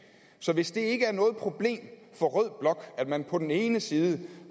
så hvis det ikke er noget problem for rød blok at man på den ene side